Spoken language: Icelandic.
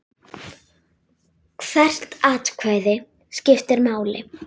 Hvert atkvæði skiptir máli.